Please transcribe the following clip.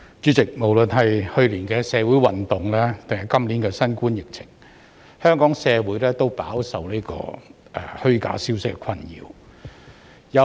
主席，不論是去年的社會運動或今年的新冠疫情，香港社會都飽受虛假消息的困擾。